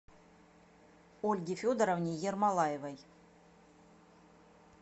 ольге федоровне ермолаевой